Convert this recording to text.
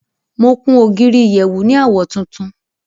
Mo kun ogírí ìyẹ̀wù ní awọ̀ tùntún.